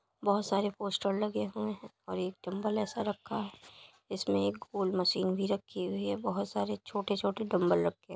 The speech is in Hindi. बहुत सारे पोस्टर लगे हुए हैं और एक डम्बल ऐसा रखा है। जिसमें एक गोल मशीन भी रखी हुई है। बहुत सारे छोटे छोटे डम्बल रखे --